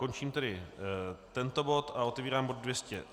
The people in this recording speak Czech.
Končím tedy tento bod a otevírám bod